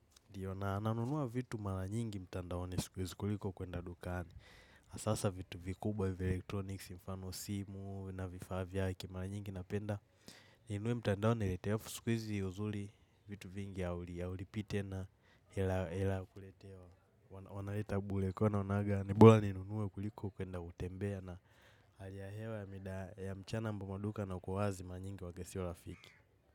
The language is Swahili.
Ndiyo na nanunuwa vitu mara nyingi mtandaoni siku hizi kuliko kuenda dukani. Asasa vitu vikubwa vya electronics mfano simu na vifaa vyake mala nyingi napenda ninunuwe mtandao niletewe afu siku hizi uzuli vitu vingi ya haulipii tena ila kuletewa. Wanaleta bule kwa hiyo naonaga ni bola ninunue kuliko kuenda kutembea na haki ya hewa ya mida ya mchana ambapo maduka yanakuwa wazi mara nyingi huwaga sio rafiki.